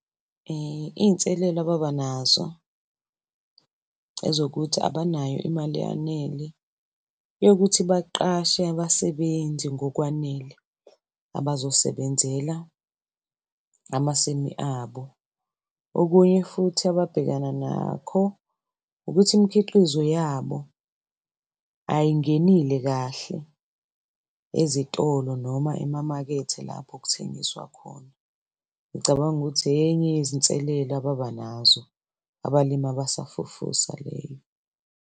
Iy'nselelo ababa nazo ezokuthi abanayo imali eyanele yokuthi baqashe abasebenzi ngokwanele abazosebenzela amasimi abo. Okunye futhi ababhekana nakho ukuthi imikhiqizo yabo ayingenile kahle ezitolo, noma emamakethe lapho kuthengiswa khona. Ngicabanga ukuthi enye yezinselelo ababa nazo abalimi abasafufusa leyo.